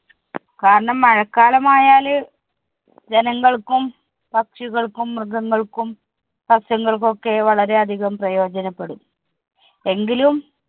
കാരണം മഴക്കാലമായാല് ജനങ്ങള്‍ക്കും, പക്ഷികൾക്കും, മൃഗങ്ങൾക്കും, സസ്യങ്ങള്‍ക്കും ഒക്കെ വളരെ അധികം പ്രയോജനപ്പെടും. എങ്കിലും